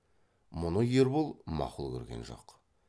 мұны ербол мақұл көрген жоқ